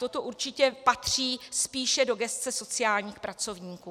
Toto určitě patří spíše do gesce sociálních pracovníků.